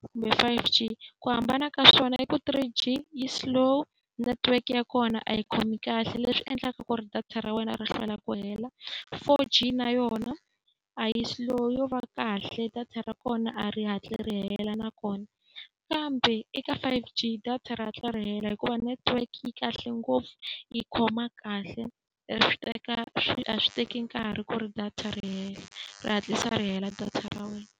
kumbe five G, ku hambana ka swona i ku three G yi slow network ya kona a yi khomi kahle leswi endlaka ku ri data ra wena ri hlwela ku hela. Four G na yona a yi slow yo va kahle, data ra kona a ri hatli ri hela na kona. Kambe eka five G data ri hatla ri hela hikuva network yi kahle ngopfu, yi khoma kahle. A swi teka swi a swi teki nkarhi ku ri data ri hela, ri hatlisa ri hela data ra wena.